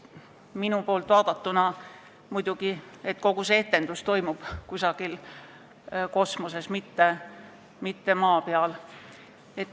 Minu poolt vaadatuna aga toimub kogu see etendus nagu kusagil kosmoses, mitte maa peal.